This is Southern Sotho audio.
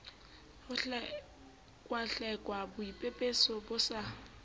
ho hlekwahlekwa boipepeso bo sa